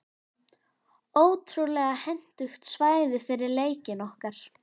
Ótrúlega hentugt svæði fyrir leikinn okkar.